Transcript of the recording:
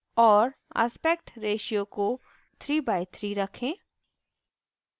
और aspect ratio को 3 by 3 रखें